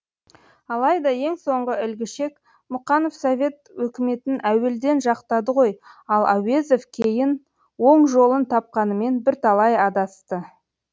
алайда ең соңғы ілгішек мұқанов совет өкіметін әуелден жақтады ғой ал әуезов кейін оң жолын тапқанымен бірталай адасты